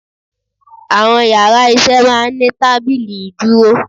Àwọn yàrá isé máa ní tábìlì ìdúró